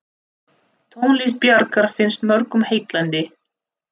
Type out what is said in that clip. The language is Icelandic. Tónlist Bjarkar finnst mörgum heillandi.